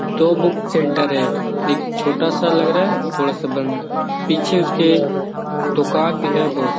दो book centre है एक छोटा सा लग रहा है थोड़ा सा बंद है अ पीछे उसके दूकान भी है बहुत सा |